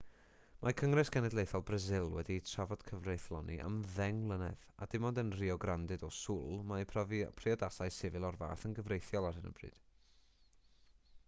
mae cyngres genedlaethol brasil wedi trafod cyfreithloni am 10 mlynedd a dim ond yn rio grande do sul mae priodasau sifil o'r fath yn gyfreithiol ar hyn o bryd